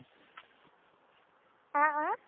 अह अं